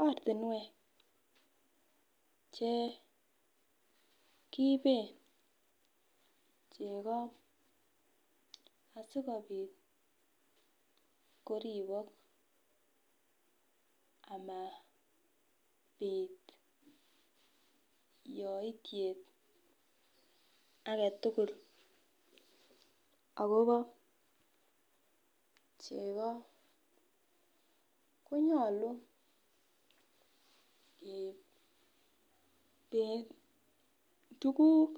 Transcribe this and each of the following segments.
Oratinwek Chekiiben cheko asikobit koribik ama bit yoityet agetugul akoba chego konyalu keiben tuguk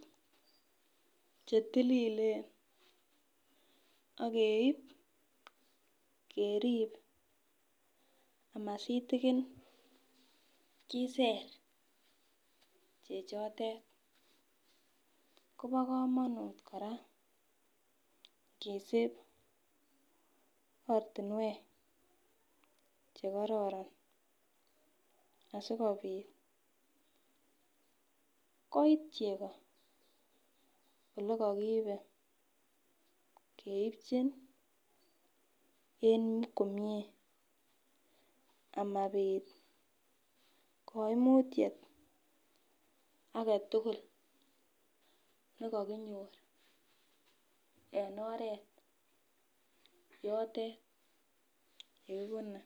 chetililen ageib kerib amasitikin Kiser chechoten Koba kamanut koraa kesib oratinwek chekororon asikobit koit chogo olegakiibeen komie amabit kaimutiet aketugul nekakinyor agetugul yotet yekibune